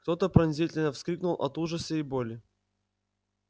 кто то пронзительно вскрикнул от ужаса и боли